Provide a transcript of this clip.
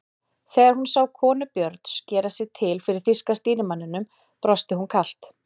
Þegar hún sá konu Björns gera sig til fyrir þýska stýrimanninum brosti hún kalt.